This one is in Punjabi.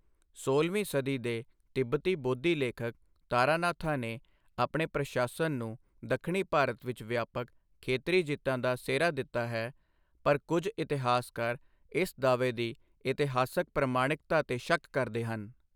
ਸੋਲਵੀਂ ਸਦੀ ਦੇ ਤਿੱਬਤੀ ਬੋਧੀ ਲੇਖਕ ਤਾਰਾਨਾਥਾ ਨੇ ਆਪਣੇ ਪ੍ਰਸ਼ਾਸਨ ਨੂੰ ਦੱਖਣੀ ਭਾਰਤ ਵਿੱਚ ਵਿਆਪਕ ਖੇਤਰੀ ਜਿੱਤਾਂ ਦਾ ਸਿਹਰਾ ਦਿੱਤਾ ਹੈ, ਪਰ ਕੁਝ ਇਤਿਹਾਸਕਾਰ ਇਸ ਦਾਅਵੇ ਦੀ ਇਤਿਹਾਸਕ ਪ੍ਰਮਾਣਿਕਤਾ 'ਤੇ ਸ਼ੱਕ ਕਰਦੇ ਹਨ।